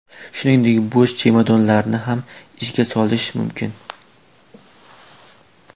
Shuningdek bo‘sh chemodanlarni ham ishga solish mumkin.